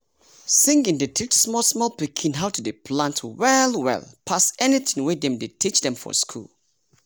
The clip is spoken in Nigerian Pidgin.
singing dey teach small small pikin how to dey plant well well pass any tin wey dem dey teach dem for school.